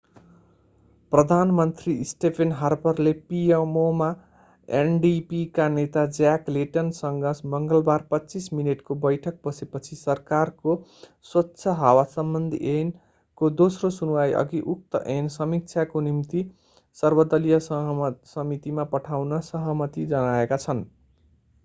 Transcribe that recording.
प्रधानमन्त्री स्टेफेन हार्परले pmo मा ndp का नेता ज्याक लेटनसँग मङ्गलबार 25 मिनेटको बैठक बसेपछि सरकारको स्वच्छ हावासम्बन्धी ऐन'को दोस्रो सुनुवाइअघि उक्त ऐन समीक्षाका निम्ति सर्वदलीय समितिमा पठाउन सहमति जनाएका छन्